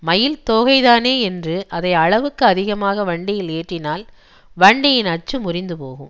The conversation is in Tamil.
மயில்தோகைதானே என்று அதை அளவுக்கு அதிகமாக வண்டியில் ஏற்றினால் வண்டியின் அச்சு முறிந்துபோகும்